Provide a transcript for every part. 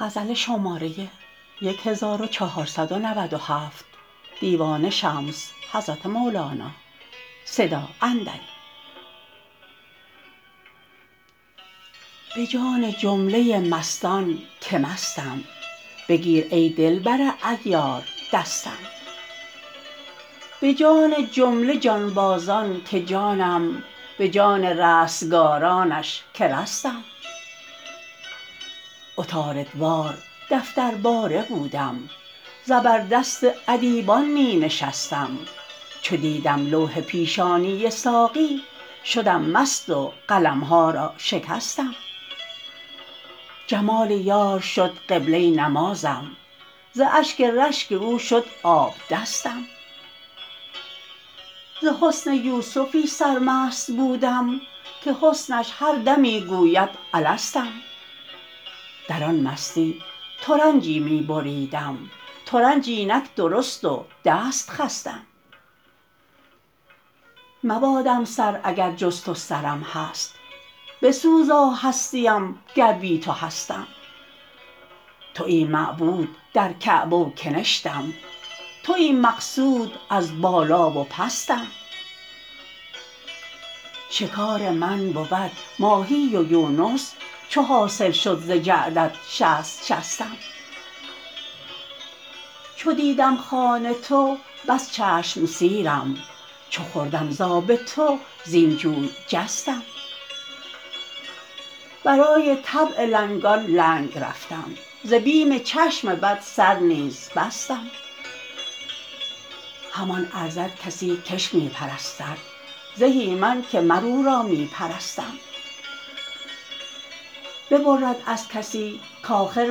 به جان جمله مستان که مستم بگیر ای دلبر عیار دستم به جان جمله جانبازان که جانم به جان رستگارانش که رستم عطاردوار دفترباره بودم زبردست ادیبان می نشستم چو دیدم لوح پیشانی ساقی شدم مست و قلم ها را شکستم جمال یار شد قبله نمازم ز اشک رشک او شد آبدستم ز حسن یوسفی سرمست بودم که حسنش هر دمی گوید الستم در آن مستی ترنجی می بریدم ترنج اینک درست و دست خستم مبادم سر اگر جز تو سرم هست بسوزا هستیم گر بی تو هستم توی معبود در کعبه و کنشتم توی مقصود از بالا و پستم شکار من بود ماهی و یونس چو حاصل شد ز جعدت شصت شستم چو دیدم خوان تو بس چشم سیرم چو خوردم ز آب تو زین جوی جستم برای طبع لنگان لنگ رفتم ز بیم چشم بد سر نیز بستم همان ارزد کسی کش می پرستد زهی من که مر او را می پرستم ببرد از کسی کآخر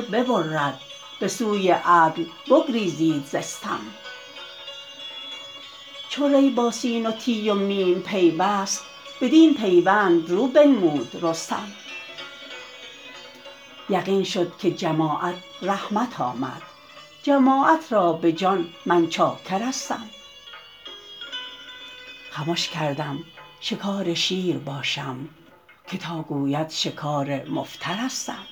ببرد به سوی عدل بگریزید ز استم چو ری با سین و تی و میم پیوست بدین پیوند رو بنمود رستم یقین شد که جماعت رحمت آمد جماعت را به جان من چاکرستم خمش کردم شکار شیر باشم که تا گوید شکار مفترستم